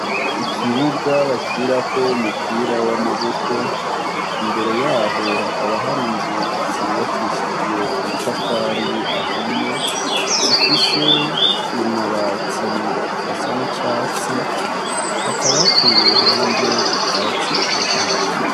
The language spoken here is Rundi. Ikibuga bakinirako umupira w' amaboko imbere yaho hakaba hari inzu zubakishijwe amatafari ahiye zifise amabati asa n' icatsi hakaba hateye iruhande ubwatsi butotahaye.